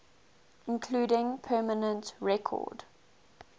including permanent record